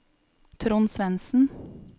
Trond Svendsen